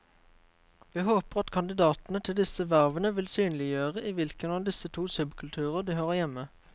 Vi håper at kandidatene til disse vervene vil synliggjøre i hvilken av disse to subkulturer de hører hjemme.